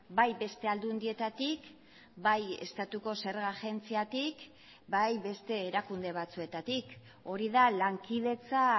bai beste aldundietatik bai estatuko zerga agentziatik bai beste erakunde batzuetatik hori da lankidetza